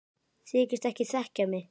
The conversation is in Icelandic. Þykist ekki þekkja mig!